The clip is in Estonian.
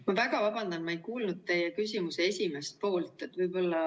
Ma väga vabandan, ma ei kuulnud teie küsimuse esimest poolt.